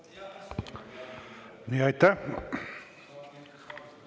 Aitäh!